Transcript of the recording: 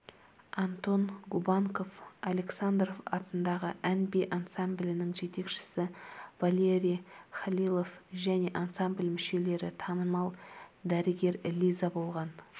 антон губанков александров атындағы ән-би ансамблінің жетекшісі валерий халилов және ансамбль мүшелері танымал дәрігер лиза болған